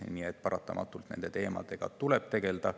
Nii et paratamatult tuleb nende teemadega tegeleda.